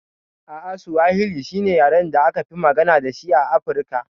A'a Suwahili shine yaren da akafi magana dashi a Afirka.